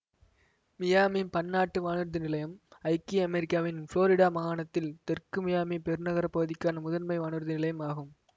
Miami பன்னாட்டு வானூர்தி நிலையம் ஐக்கிய அமெரிக்காவின் புளோரிடா மாகாணத்தில் தெற்கு மியாமி பெருநகரப் பகுதிக்கான முதன்மை வானூர்தி நிலையம் ஆகும்